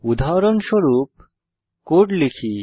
উদাহরণস্বরূপ কোড লিখি